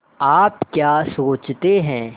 आप क्या सोचते हैं